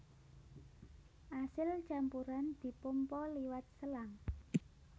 Asil campuran dipompa liwat selang